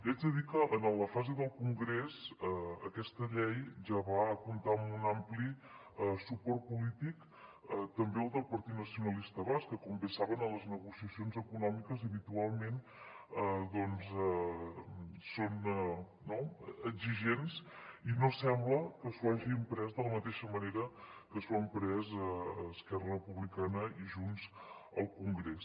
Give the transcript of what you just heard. haig de dir que en la fase del congrés aquesta llei ja va comptar amb un ampli suport polític també del partit nacionalista basc que com bé saben en les negociacions econòmiques habitualment doncs són exigents i no sembla que s’ho hagin pres de la mateixa manera que s’ho han pres esquerra republicana i junts al congrés